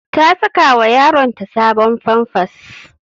Ta sakawa yaronta sabon famfas.